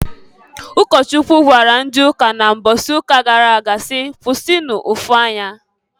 Ụkọchukwu gwara ndị ụka na mbọsị ụka gara aga si, "Kwụsịnụ ụfụ anya!"